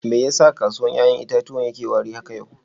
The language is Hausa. Me ya sa kasuwan yayan itatuwan ya na wari haka yau?